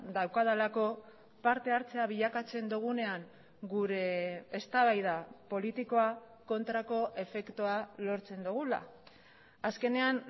daukadalako partehartzea bilakatzen dugunean gure eztabaida politikoa kontrako efektua lortzen dugula azkenean